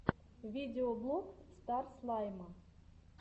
видеоблог стар слайма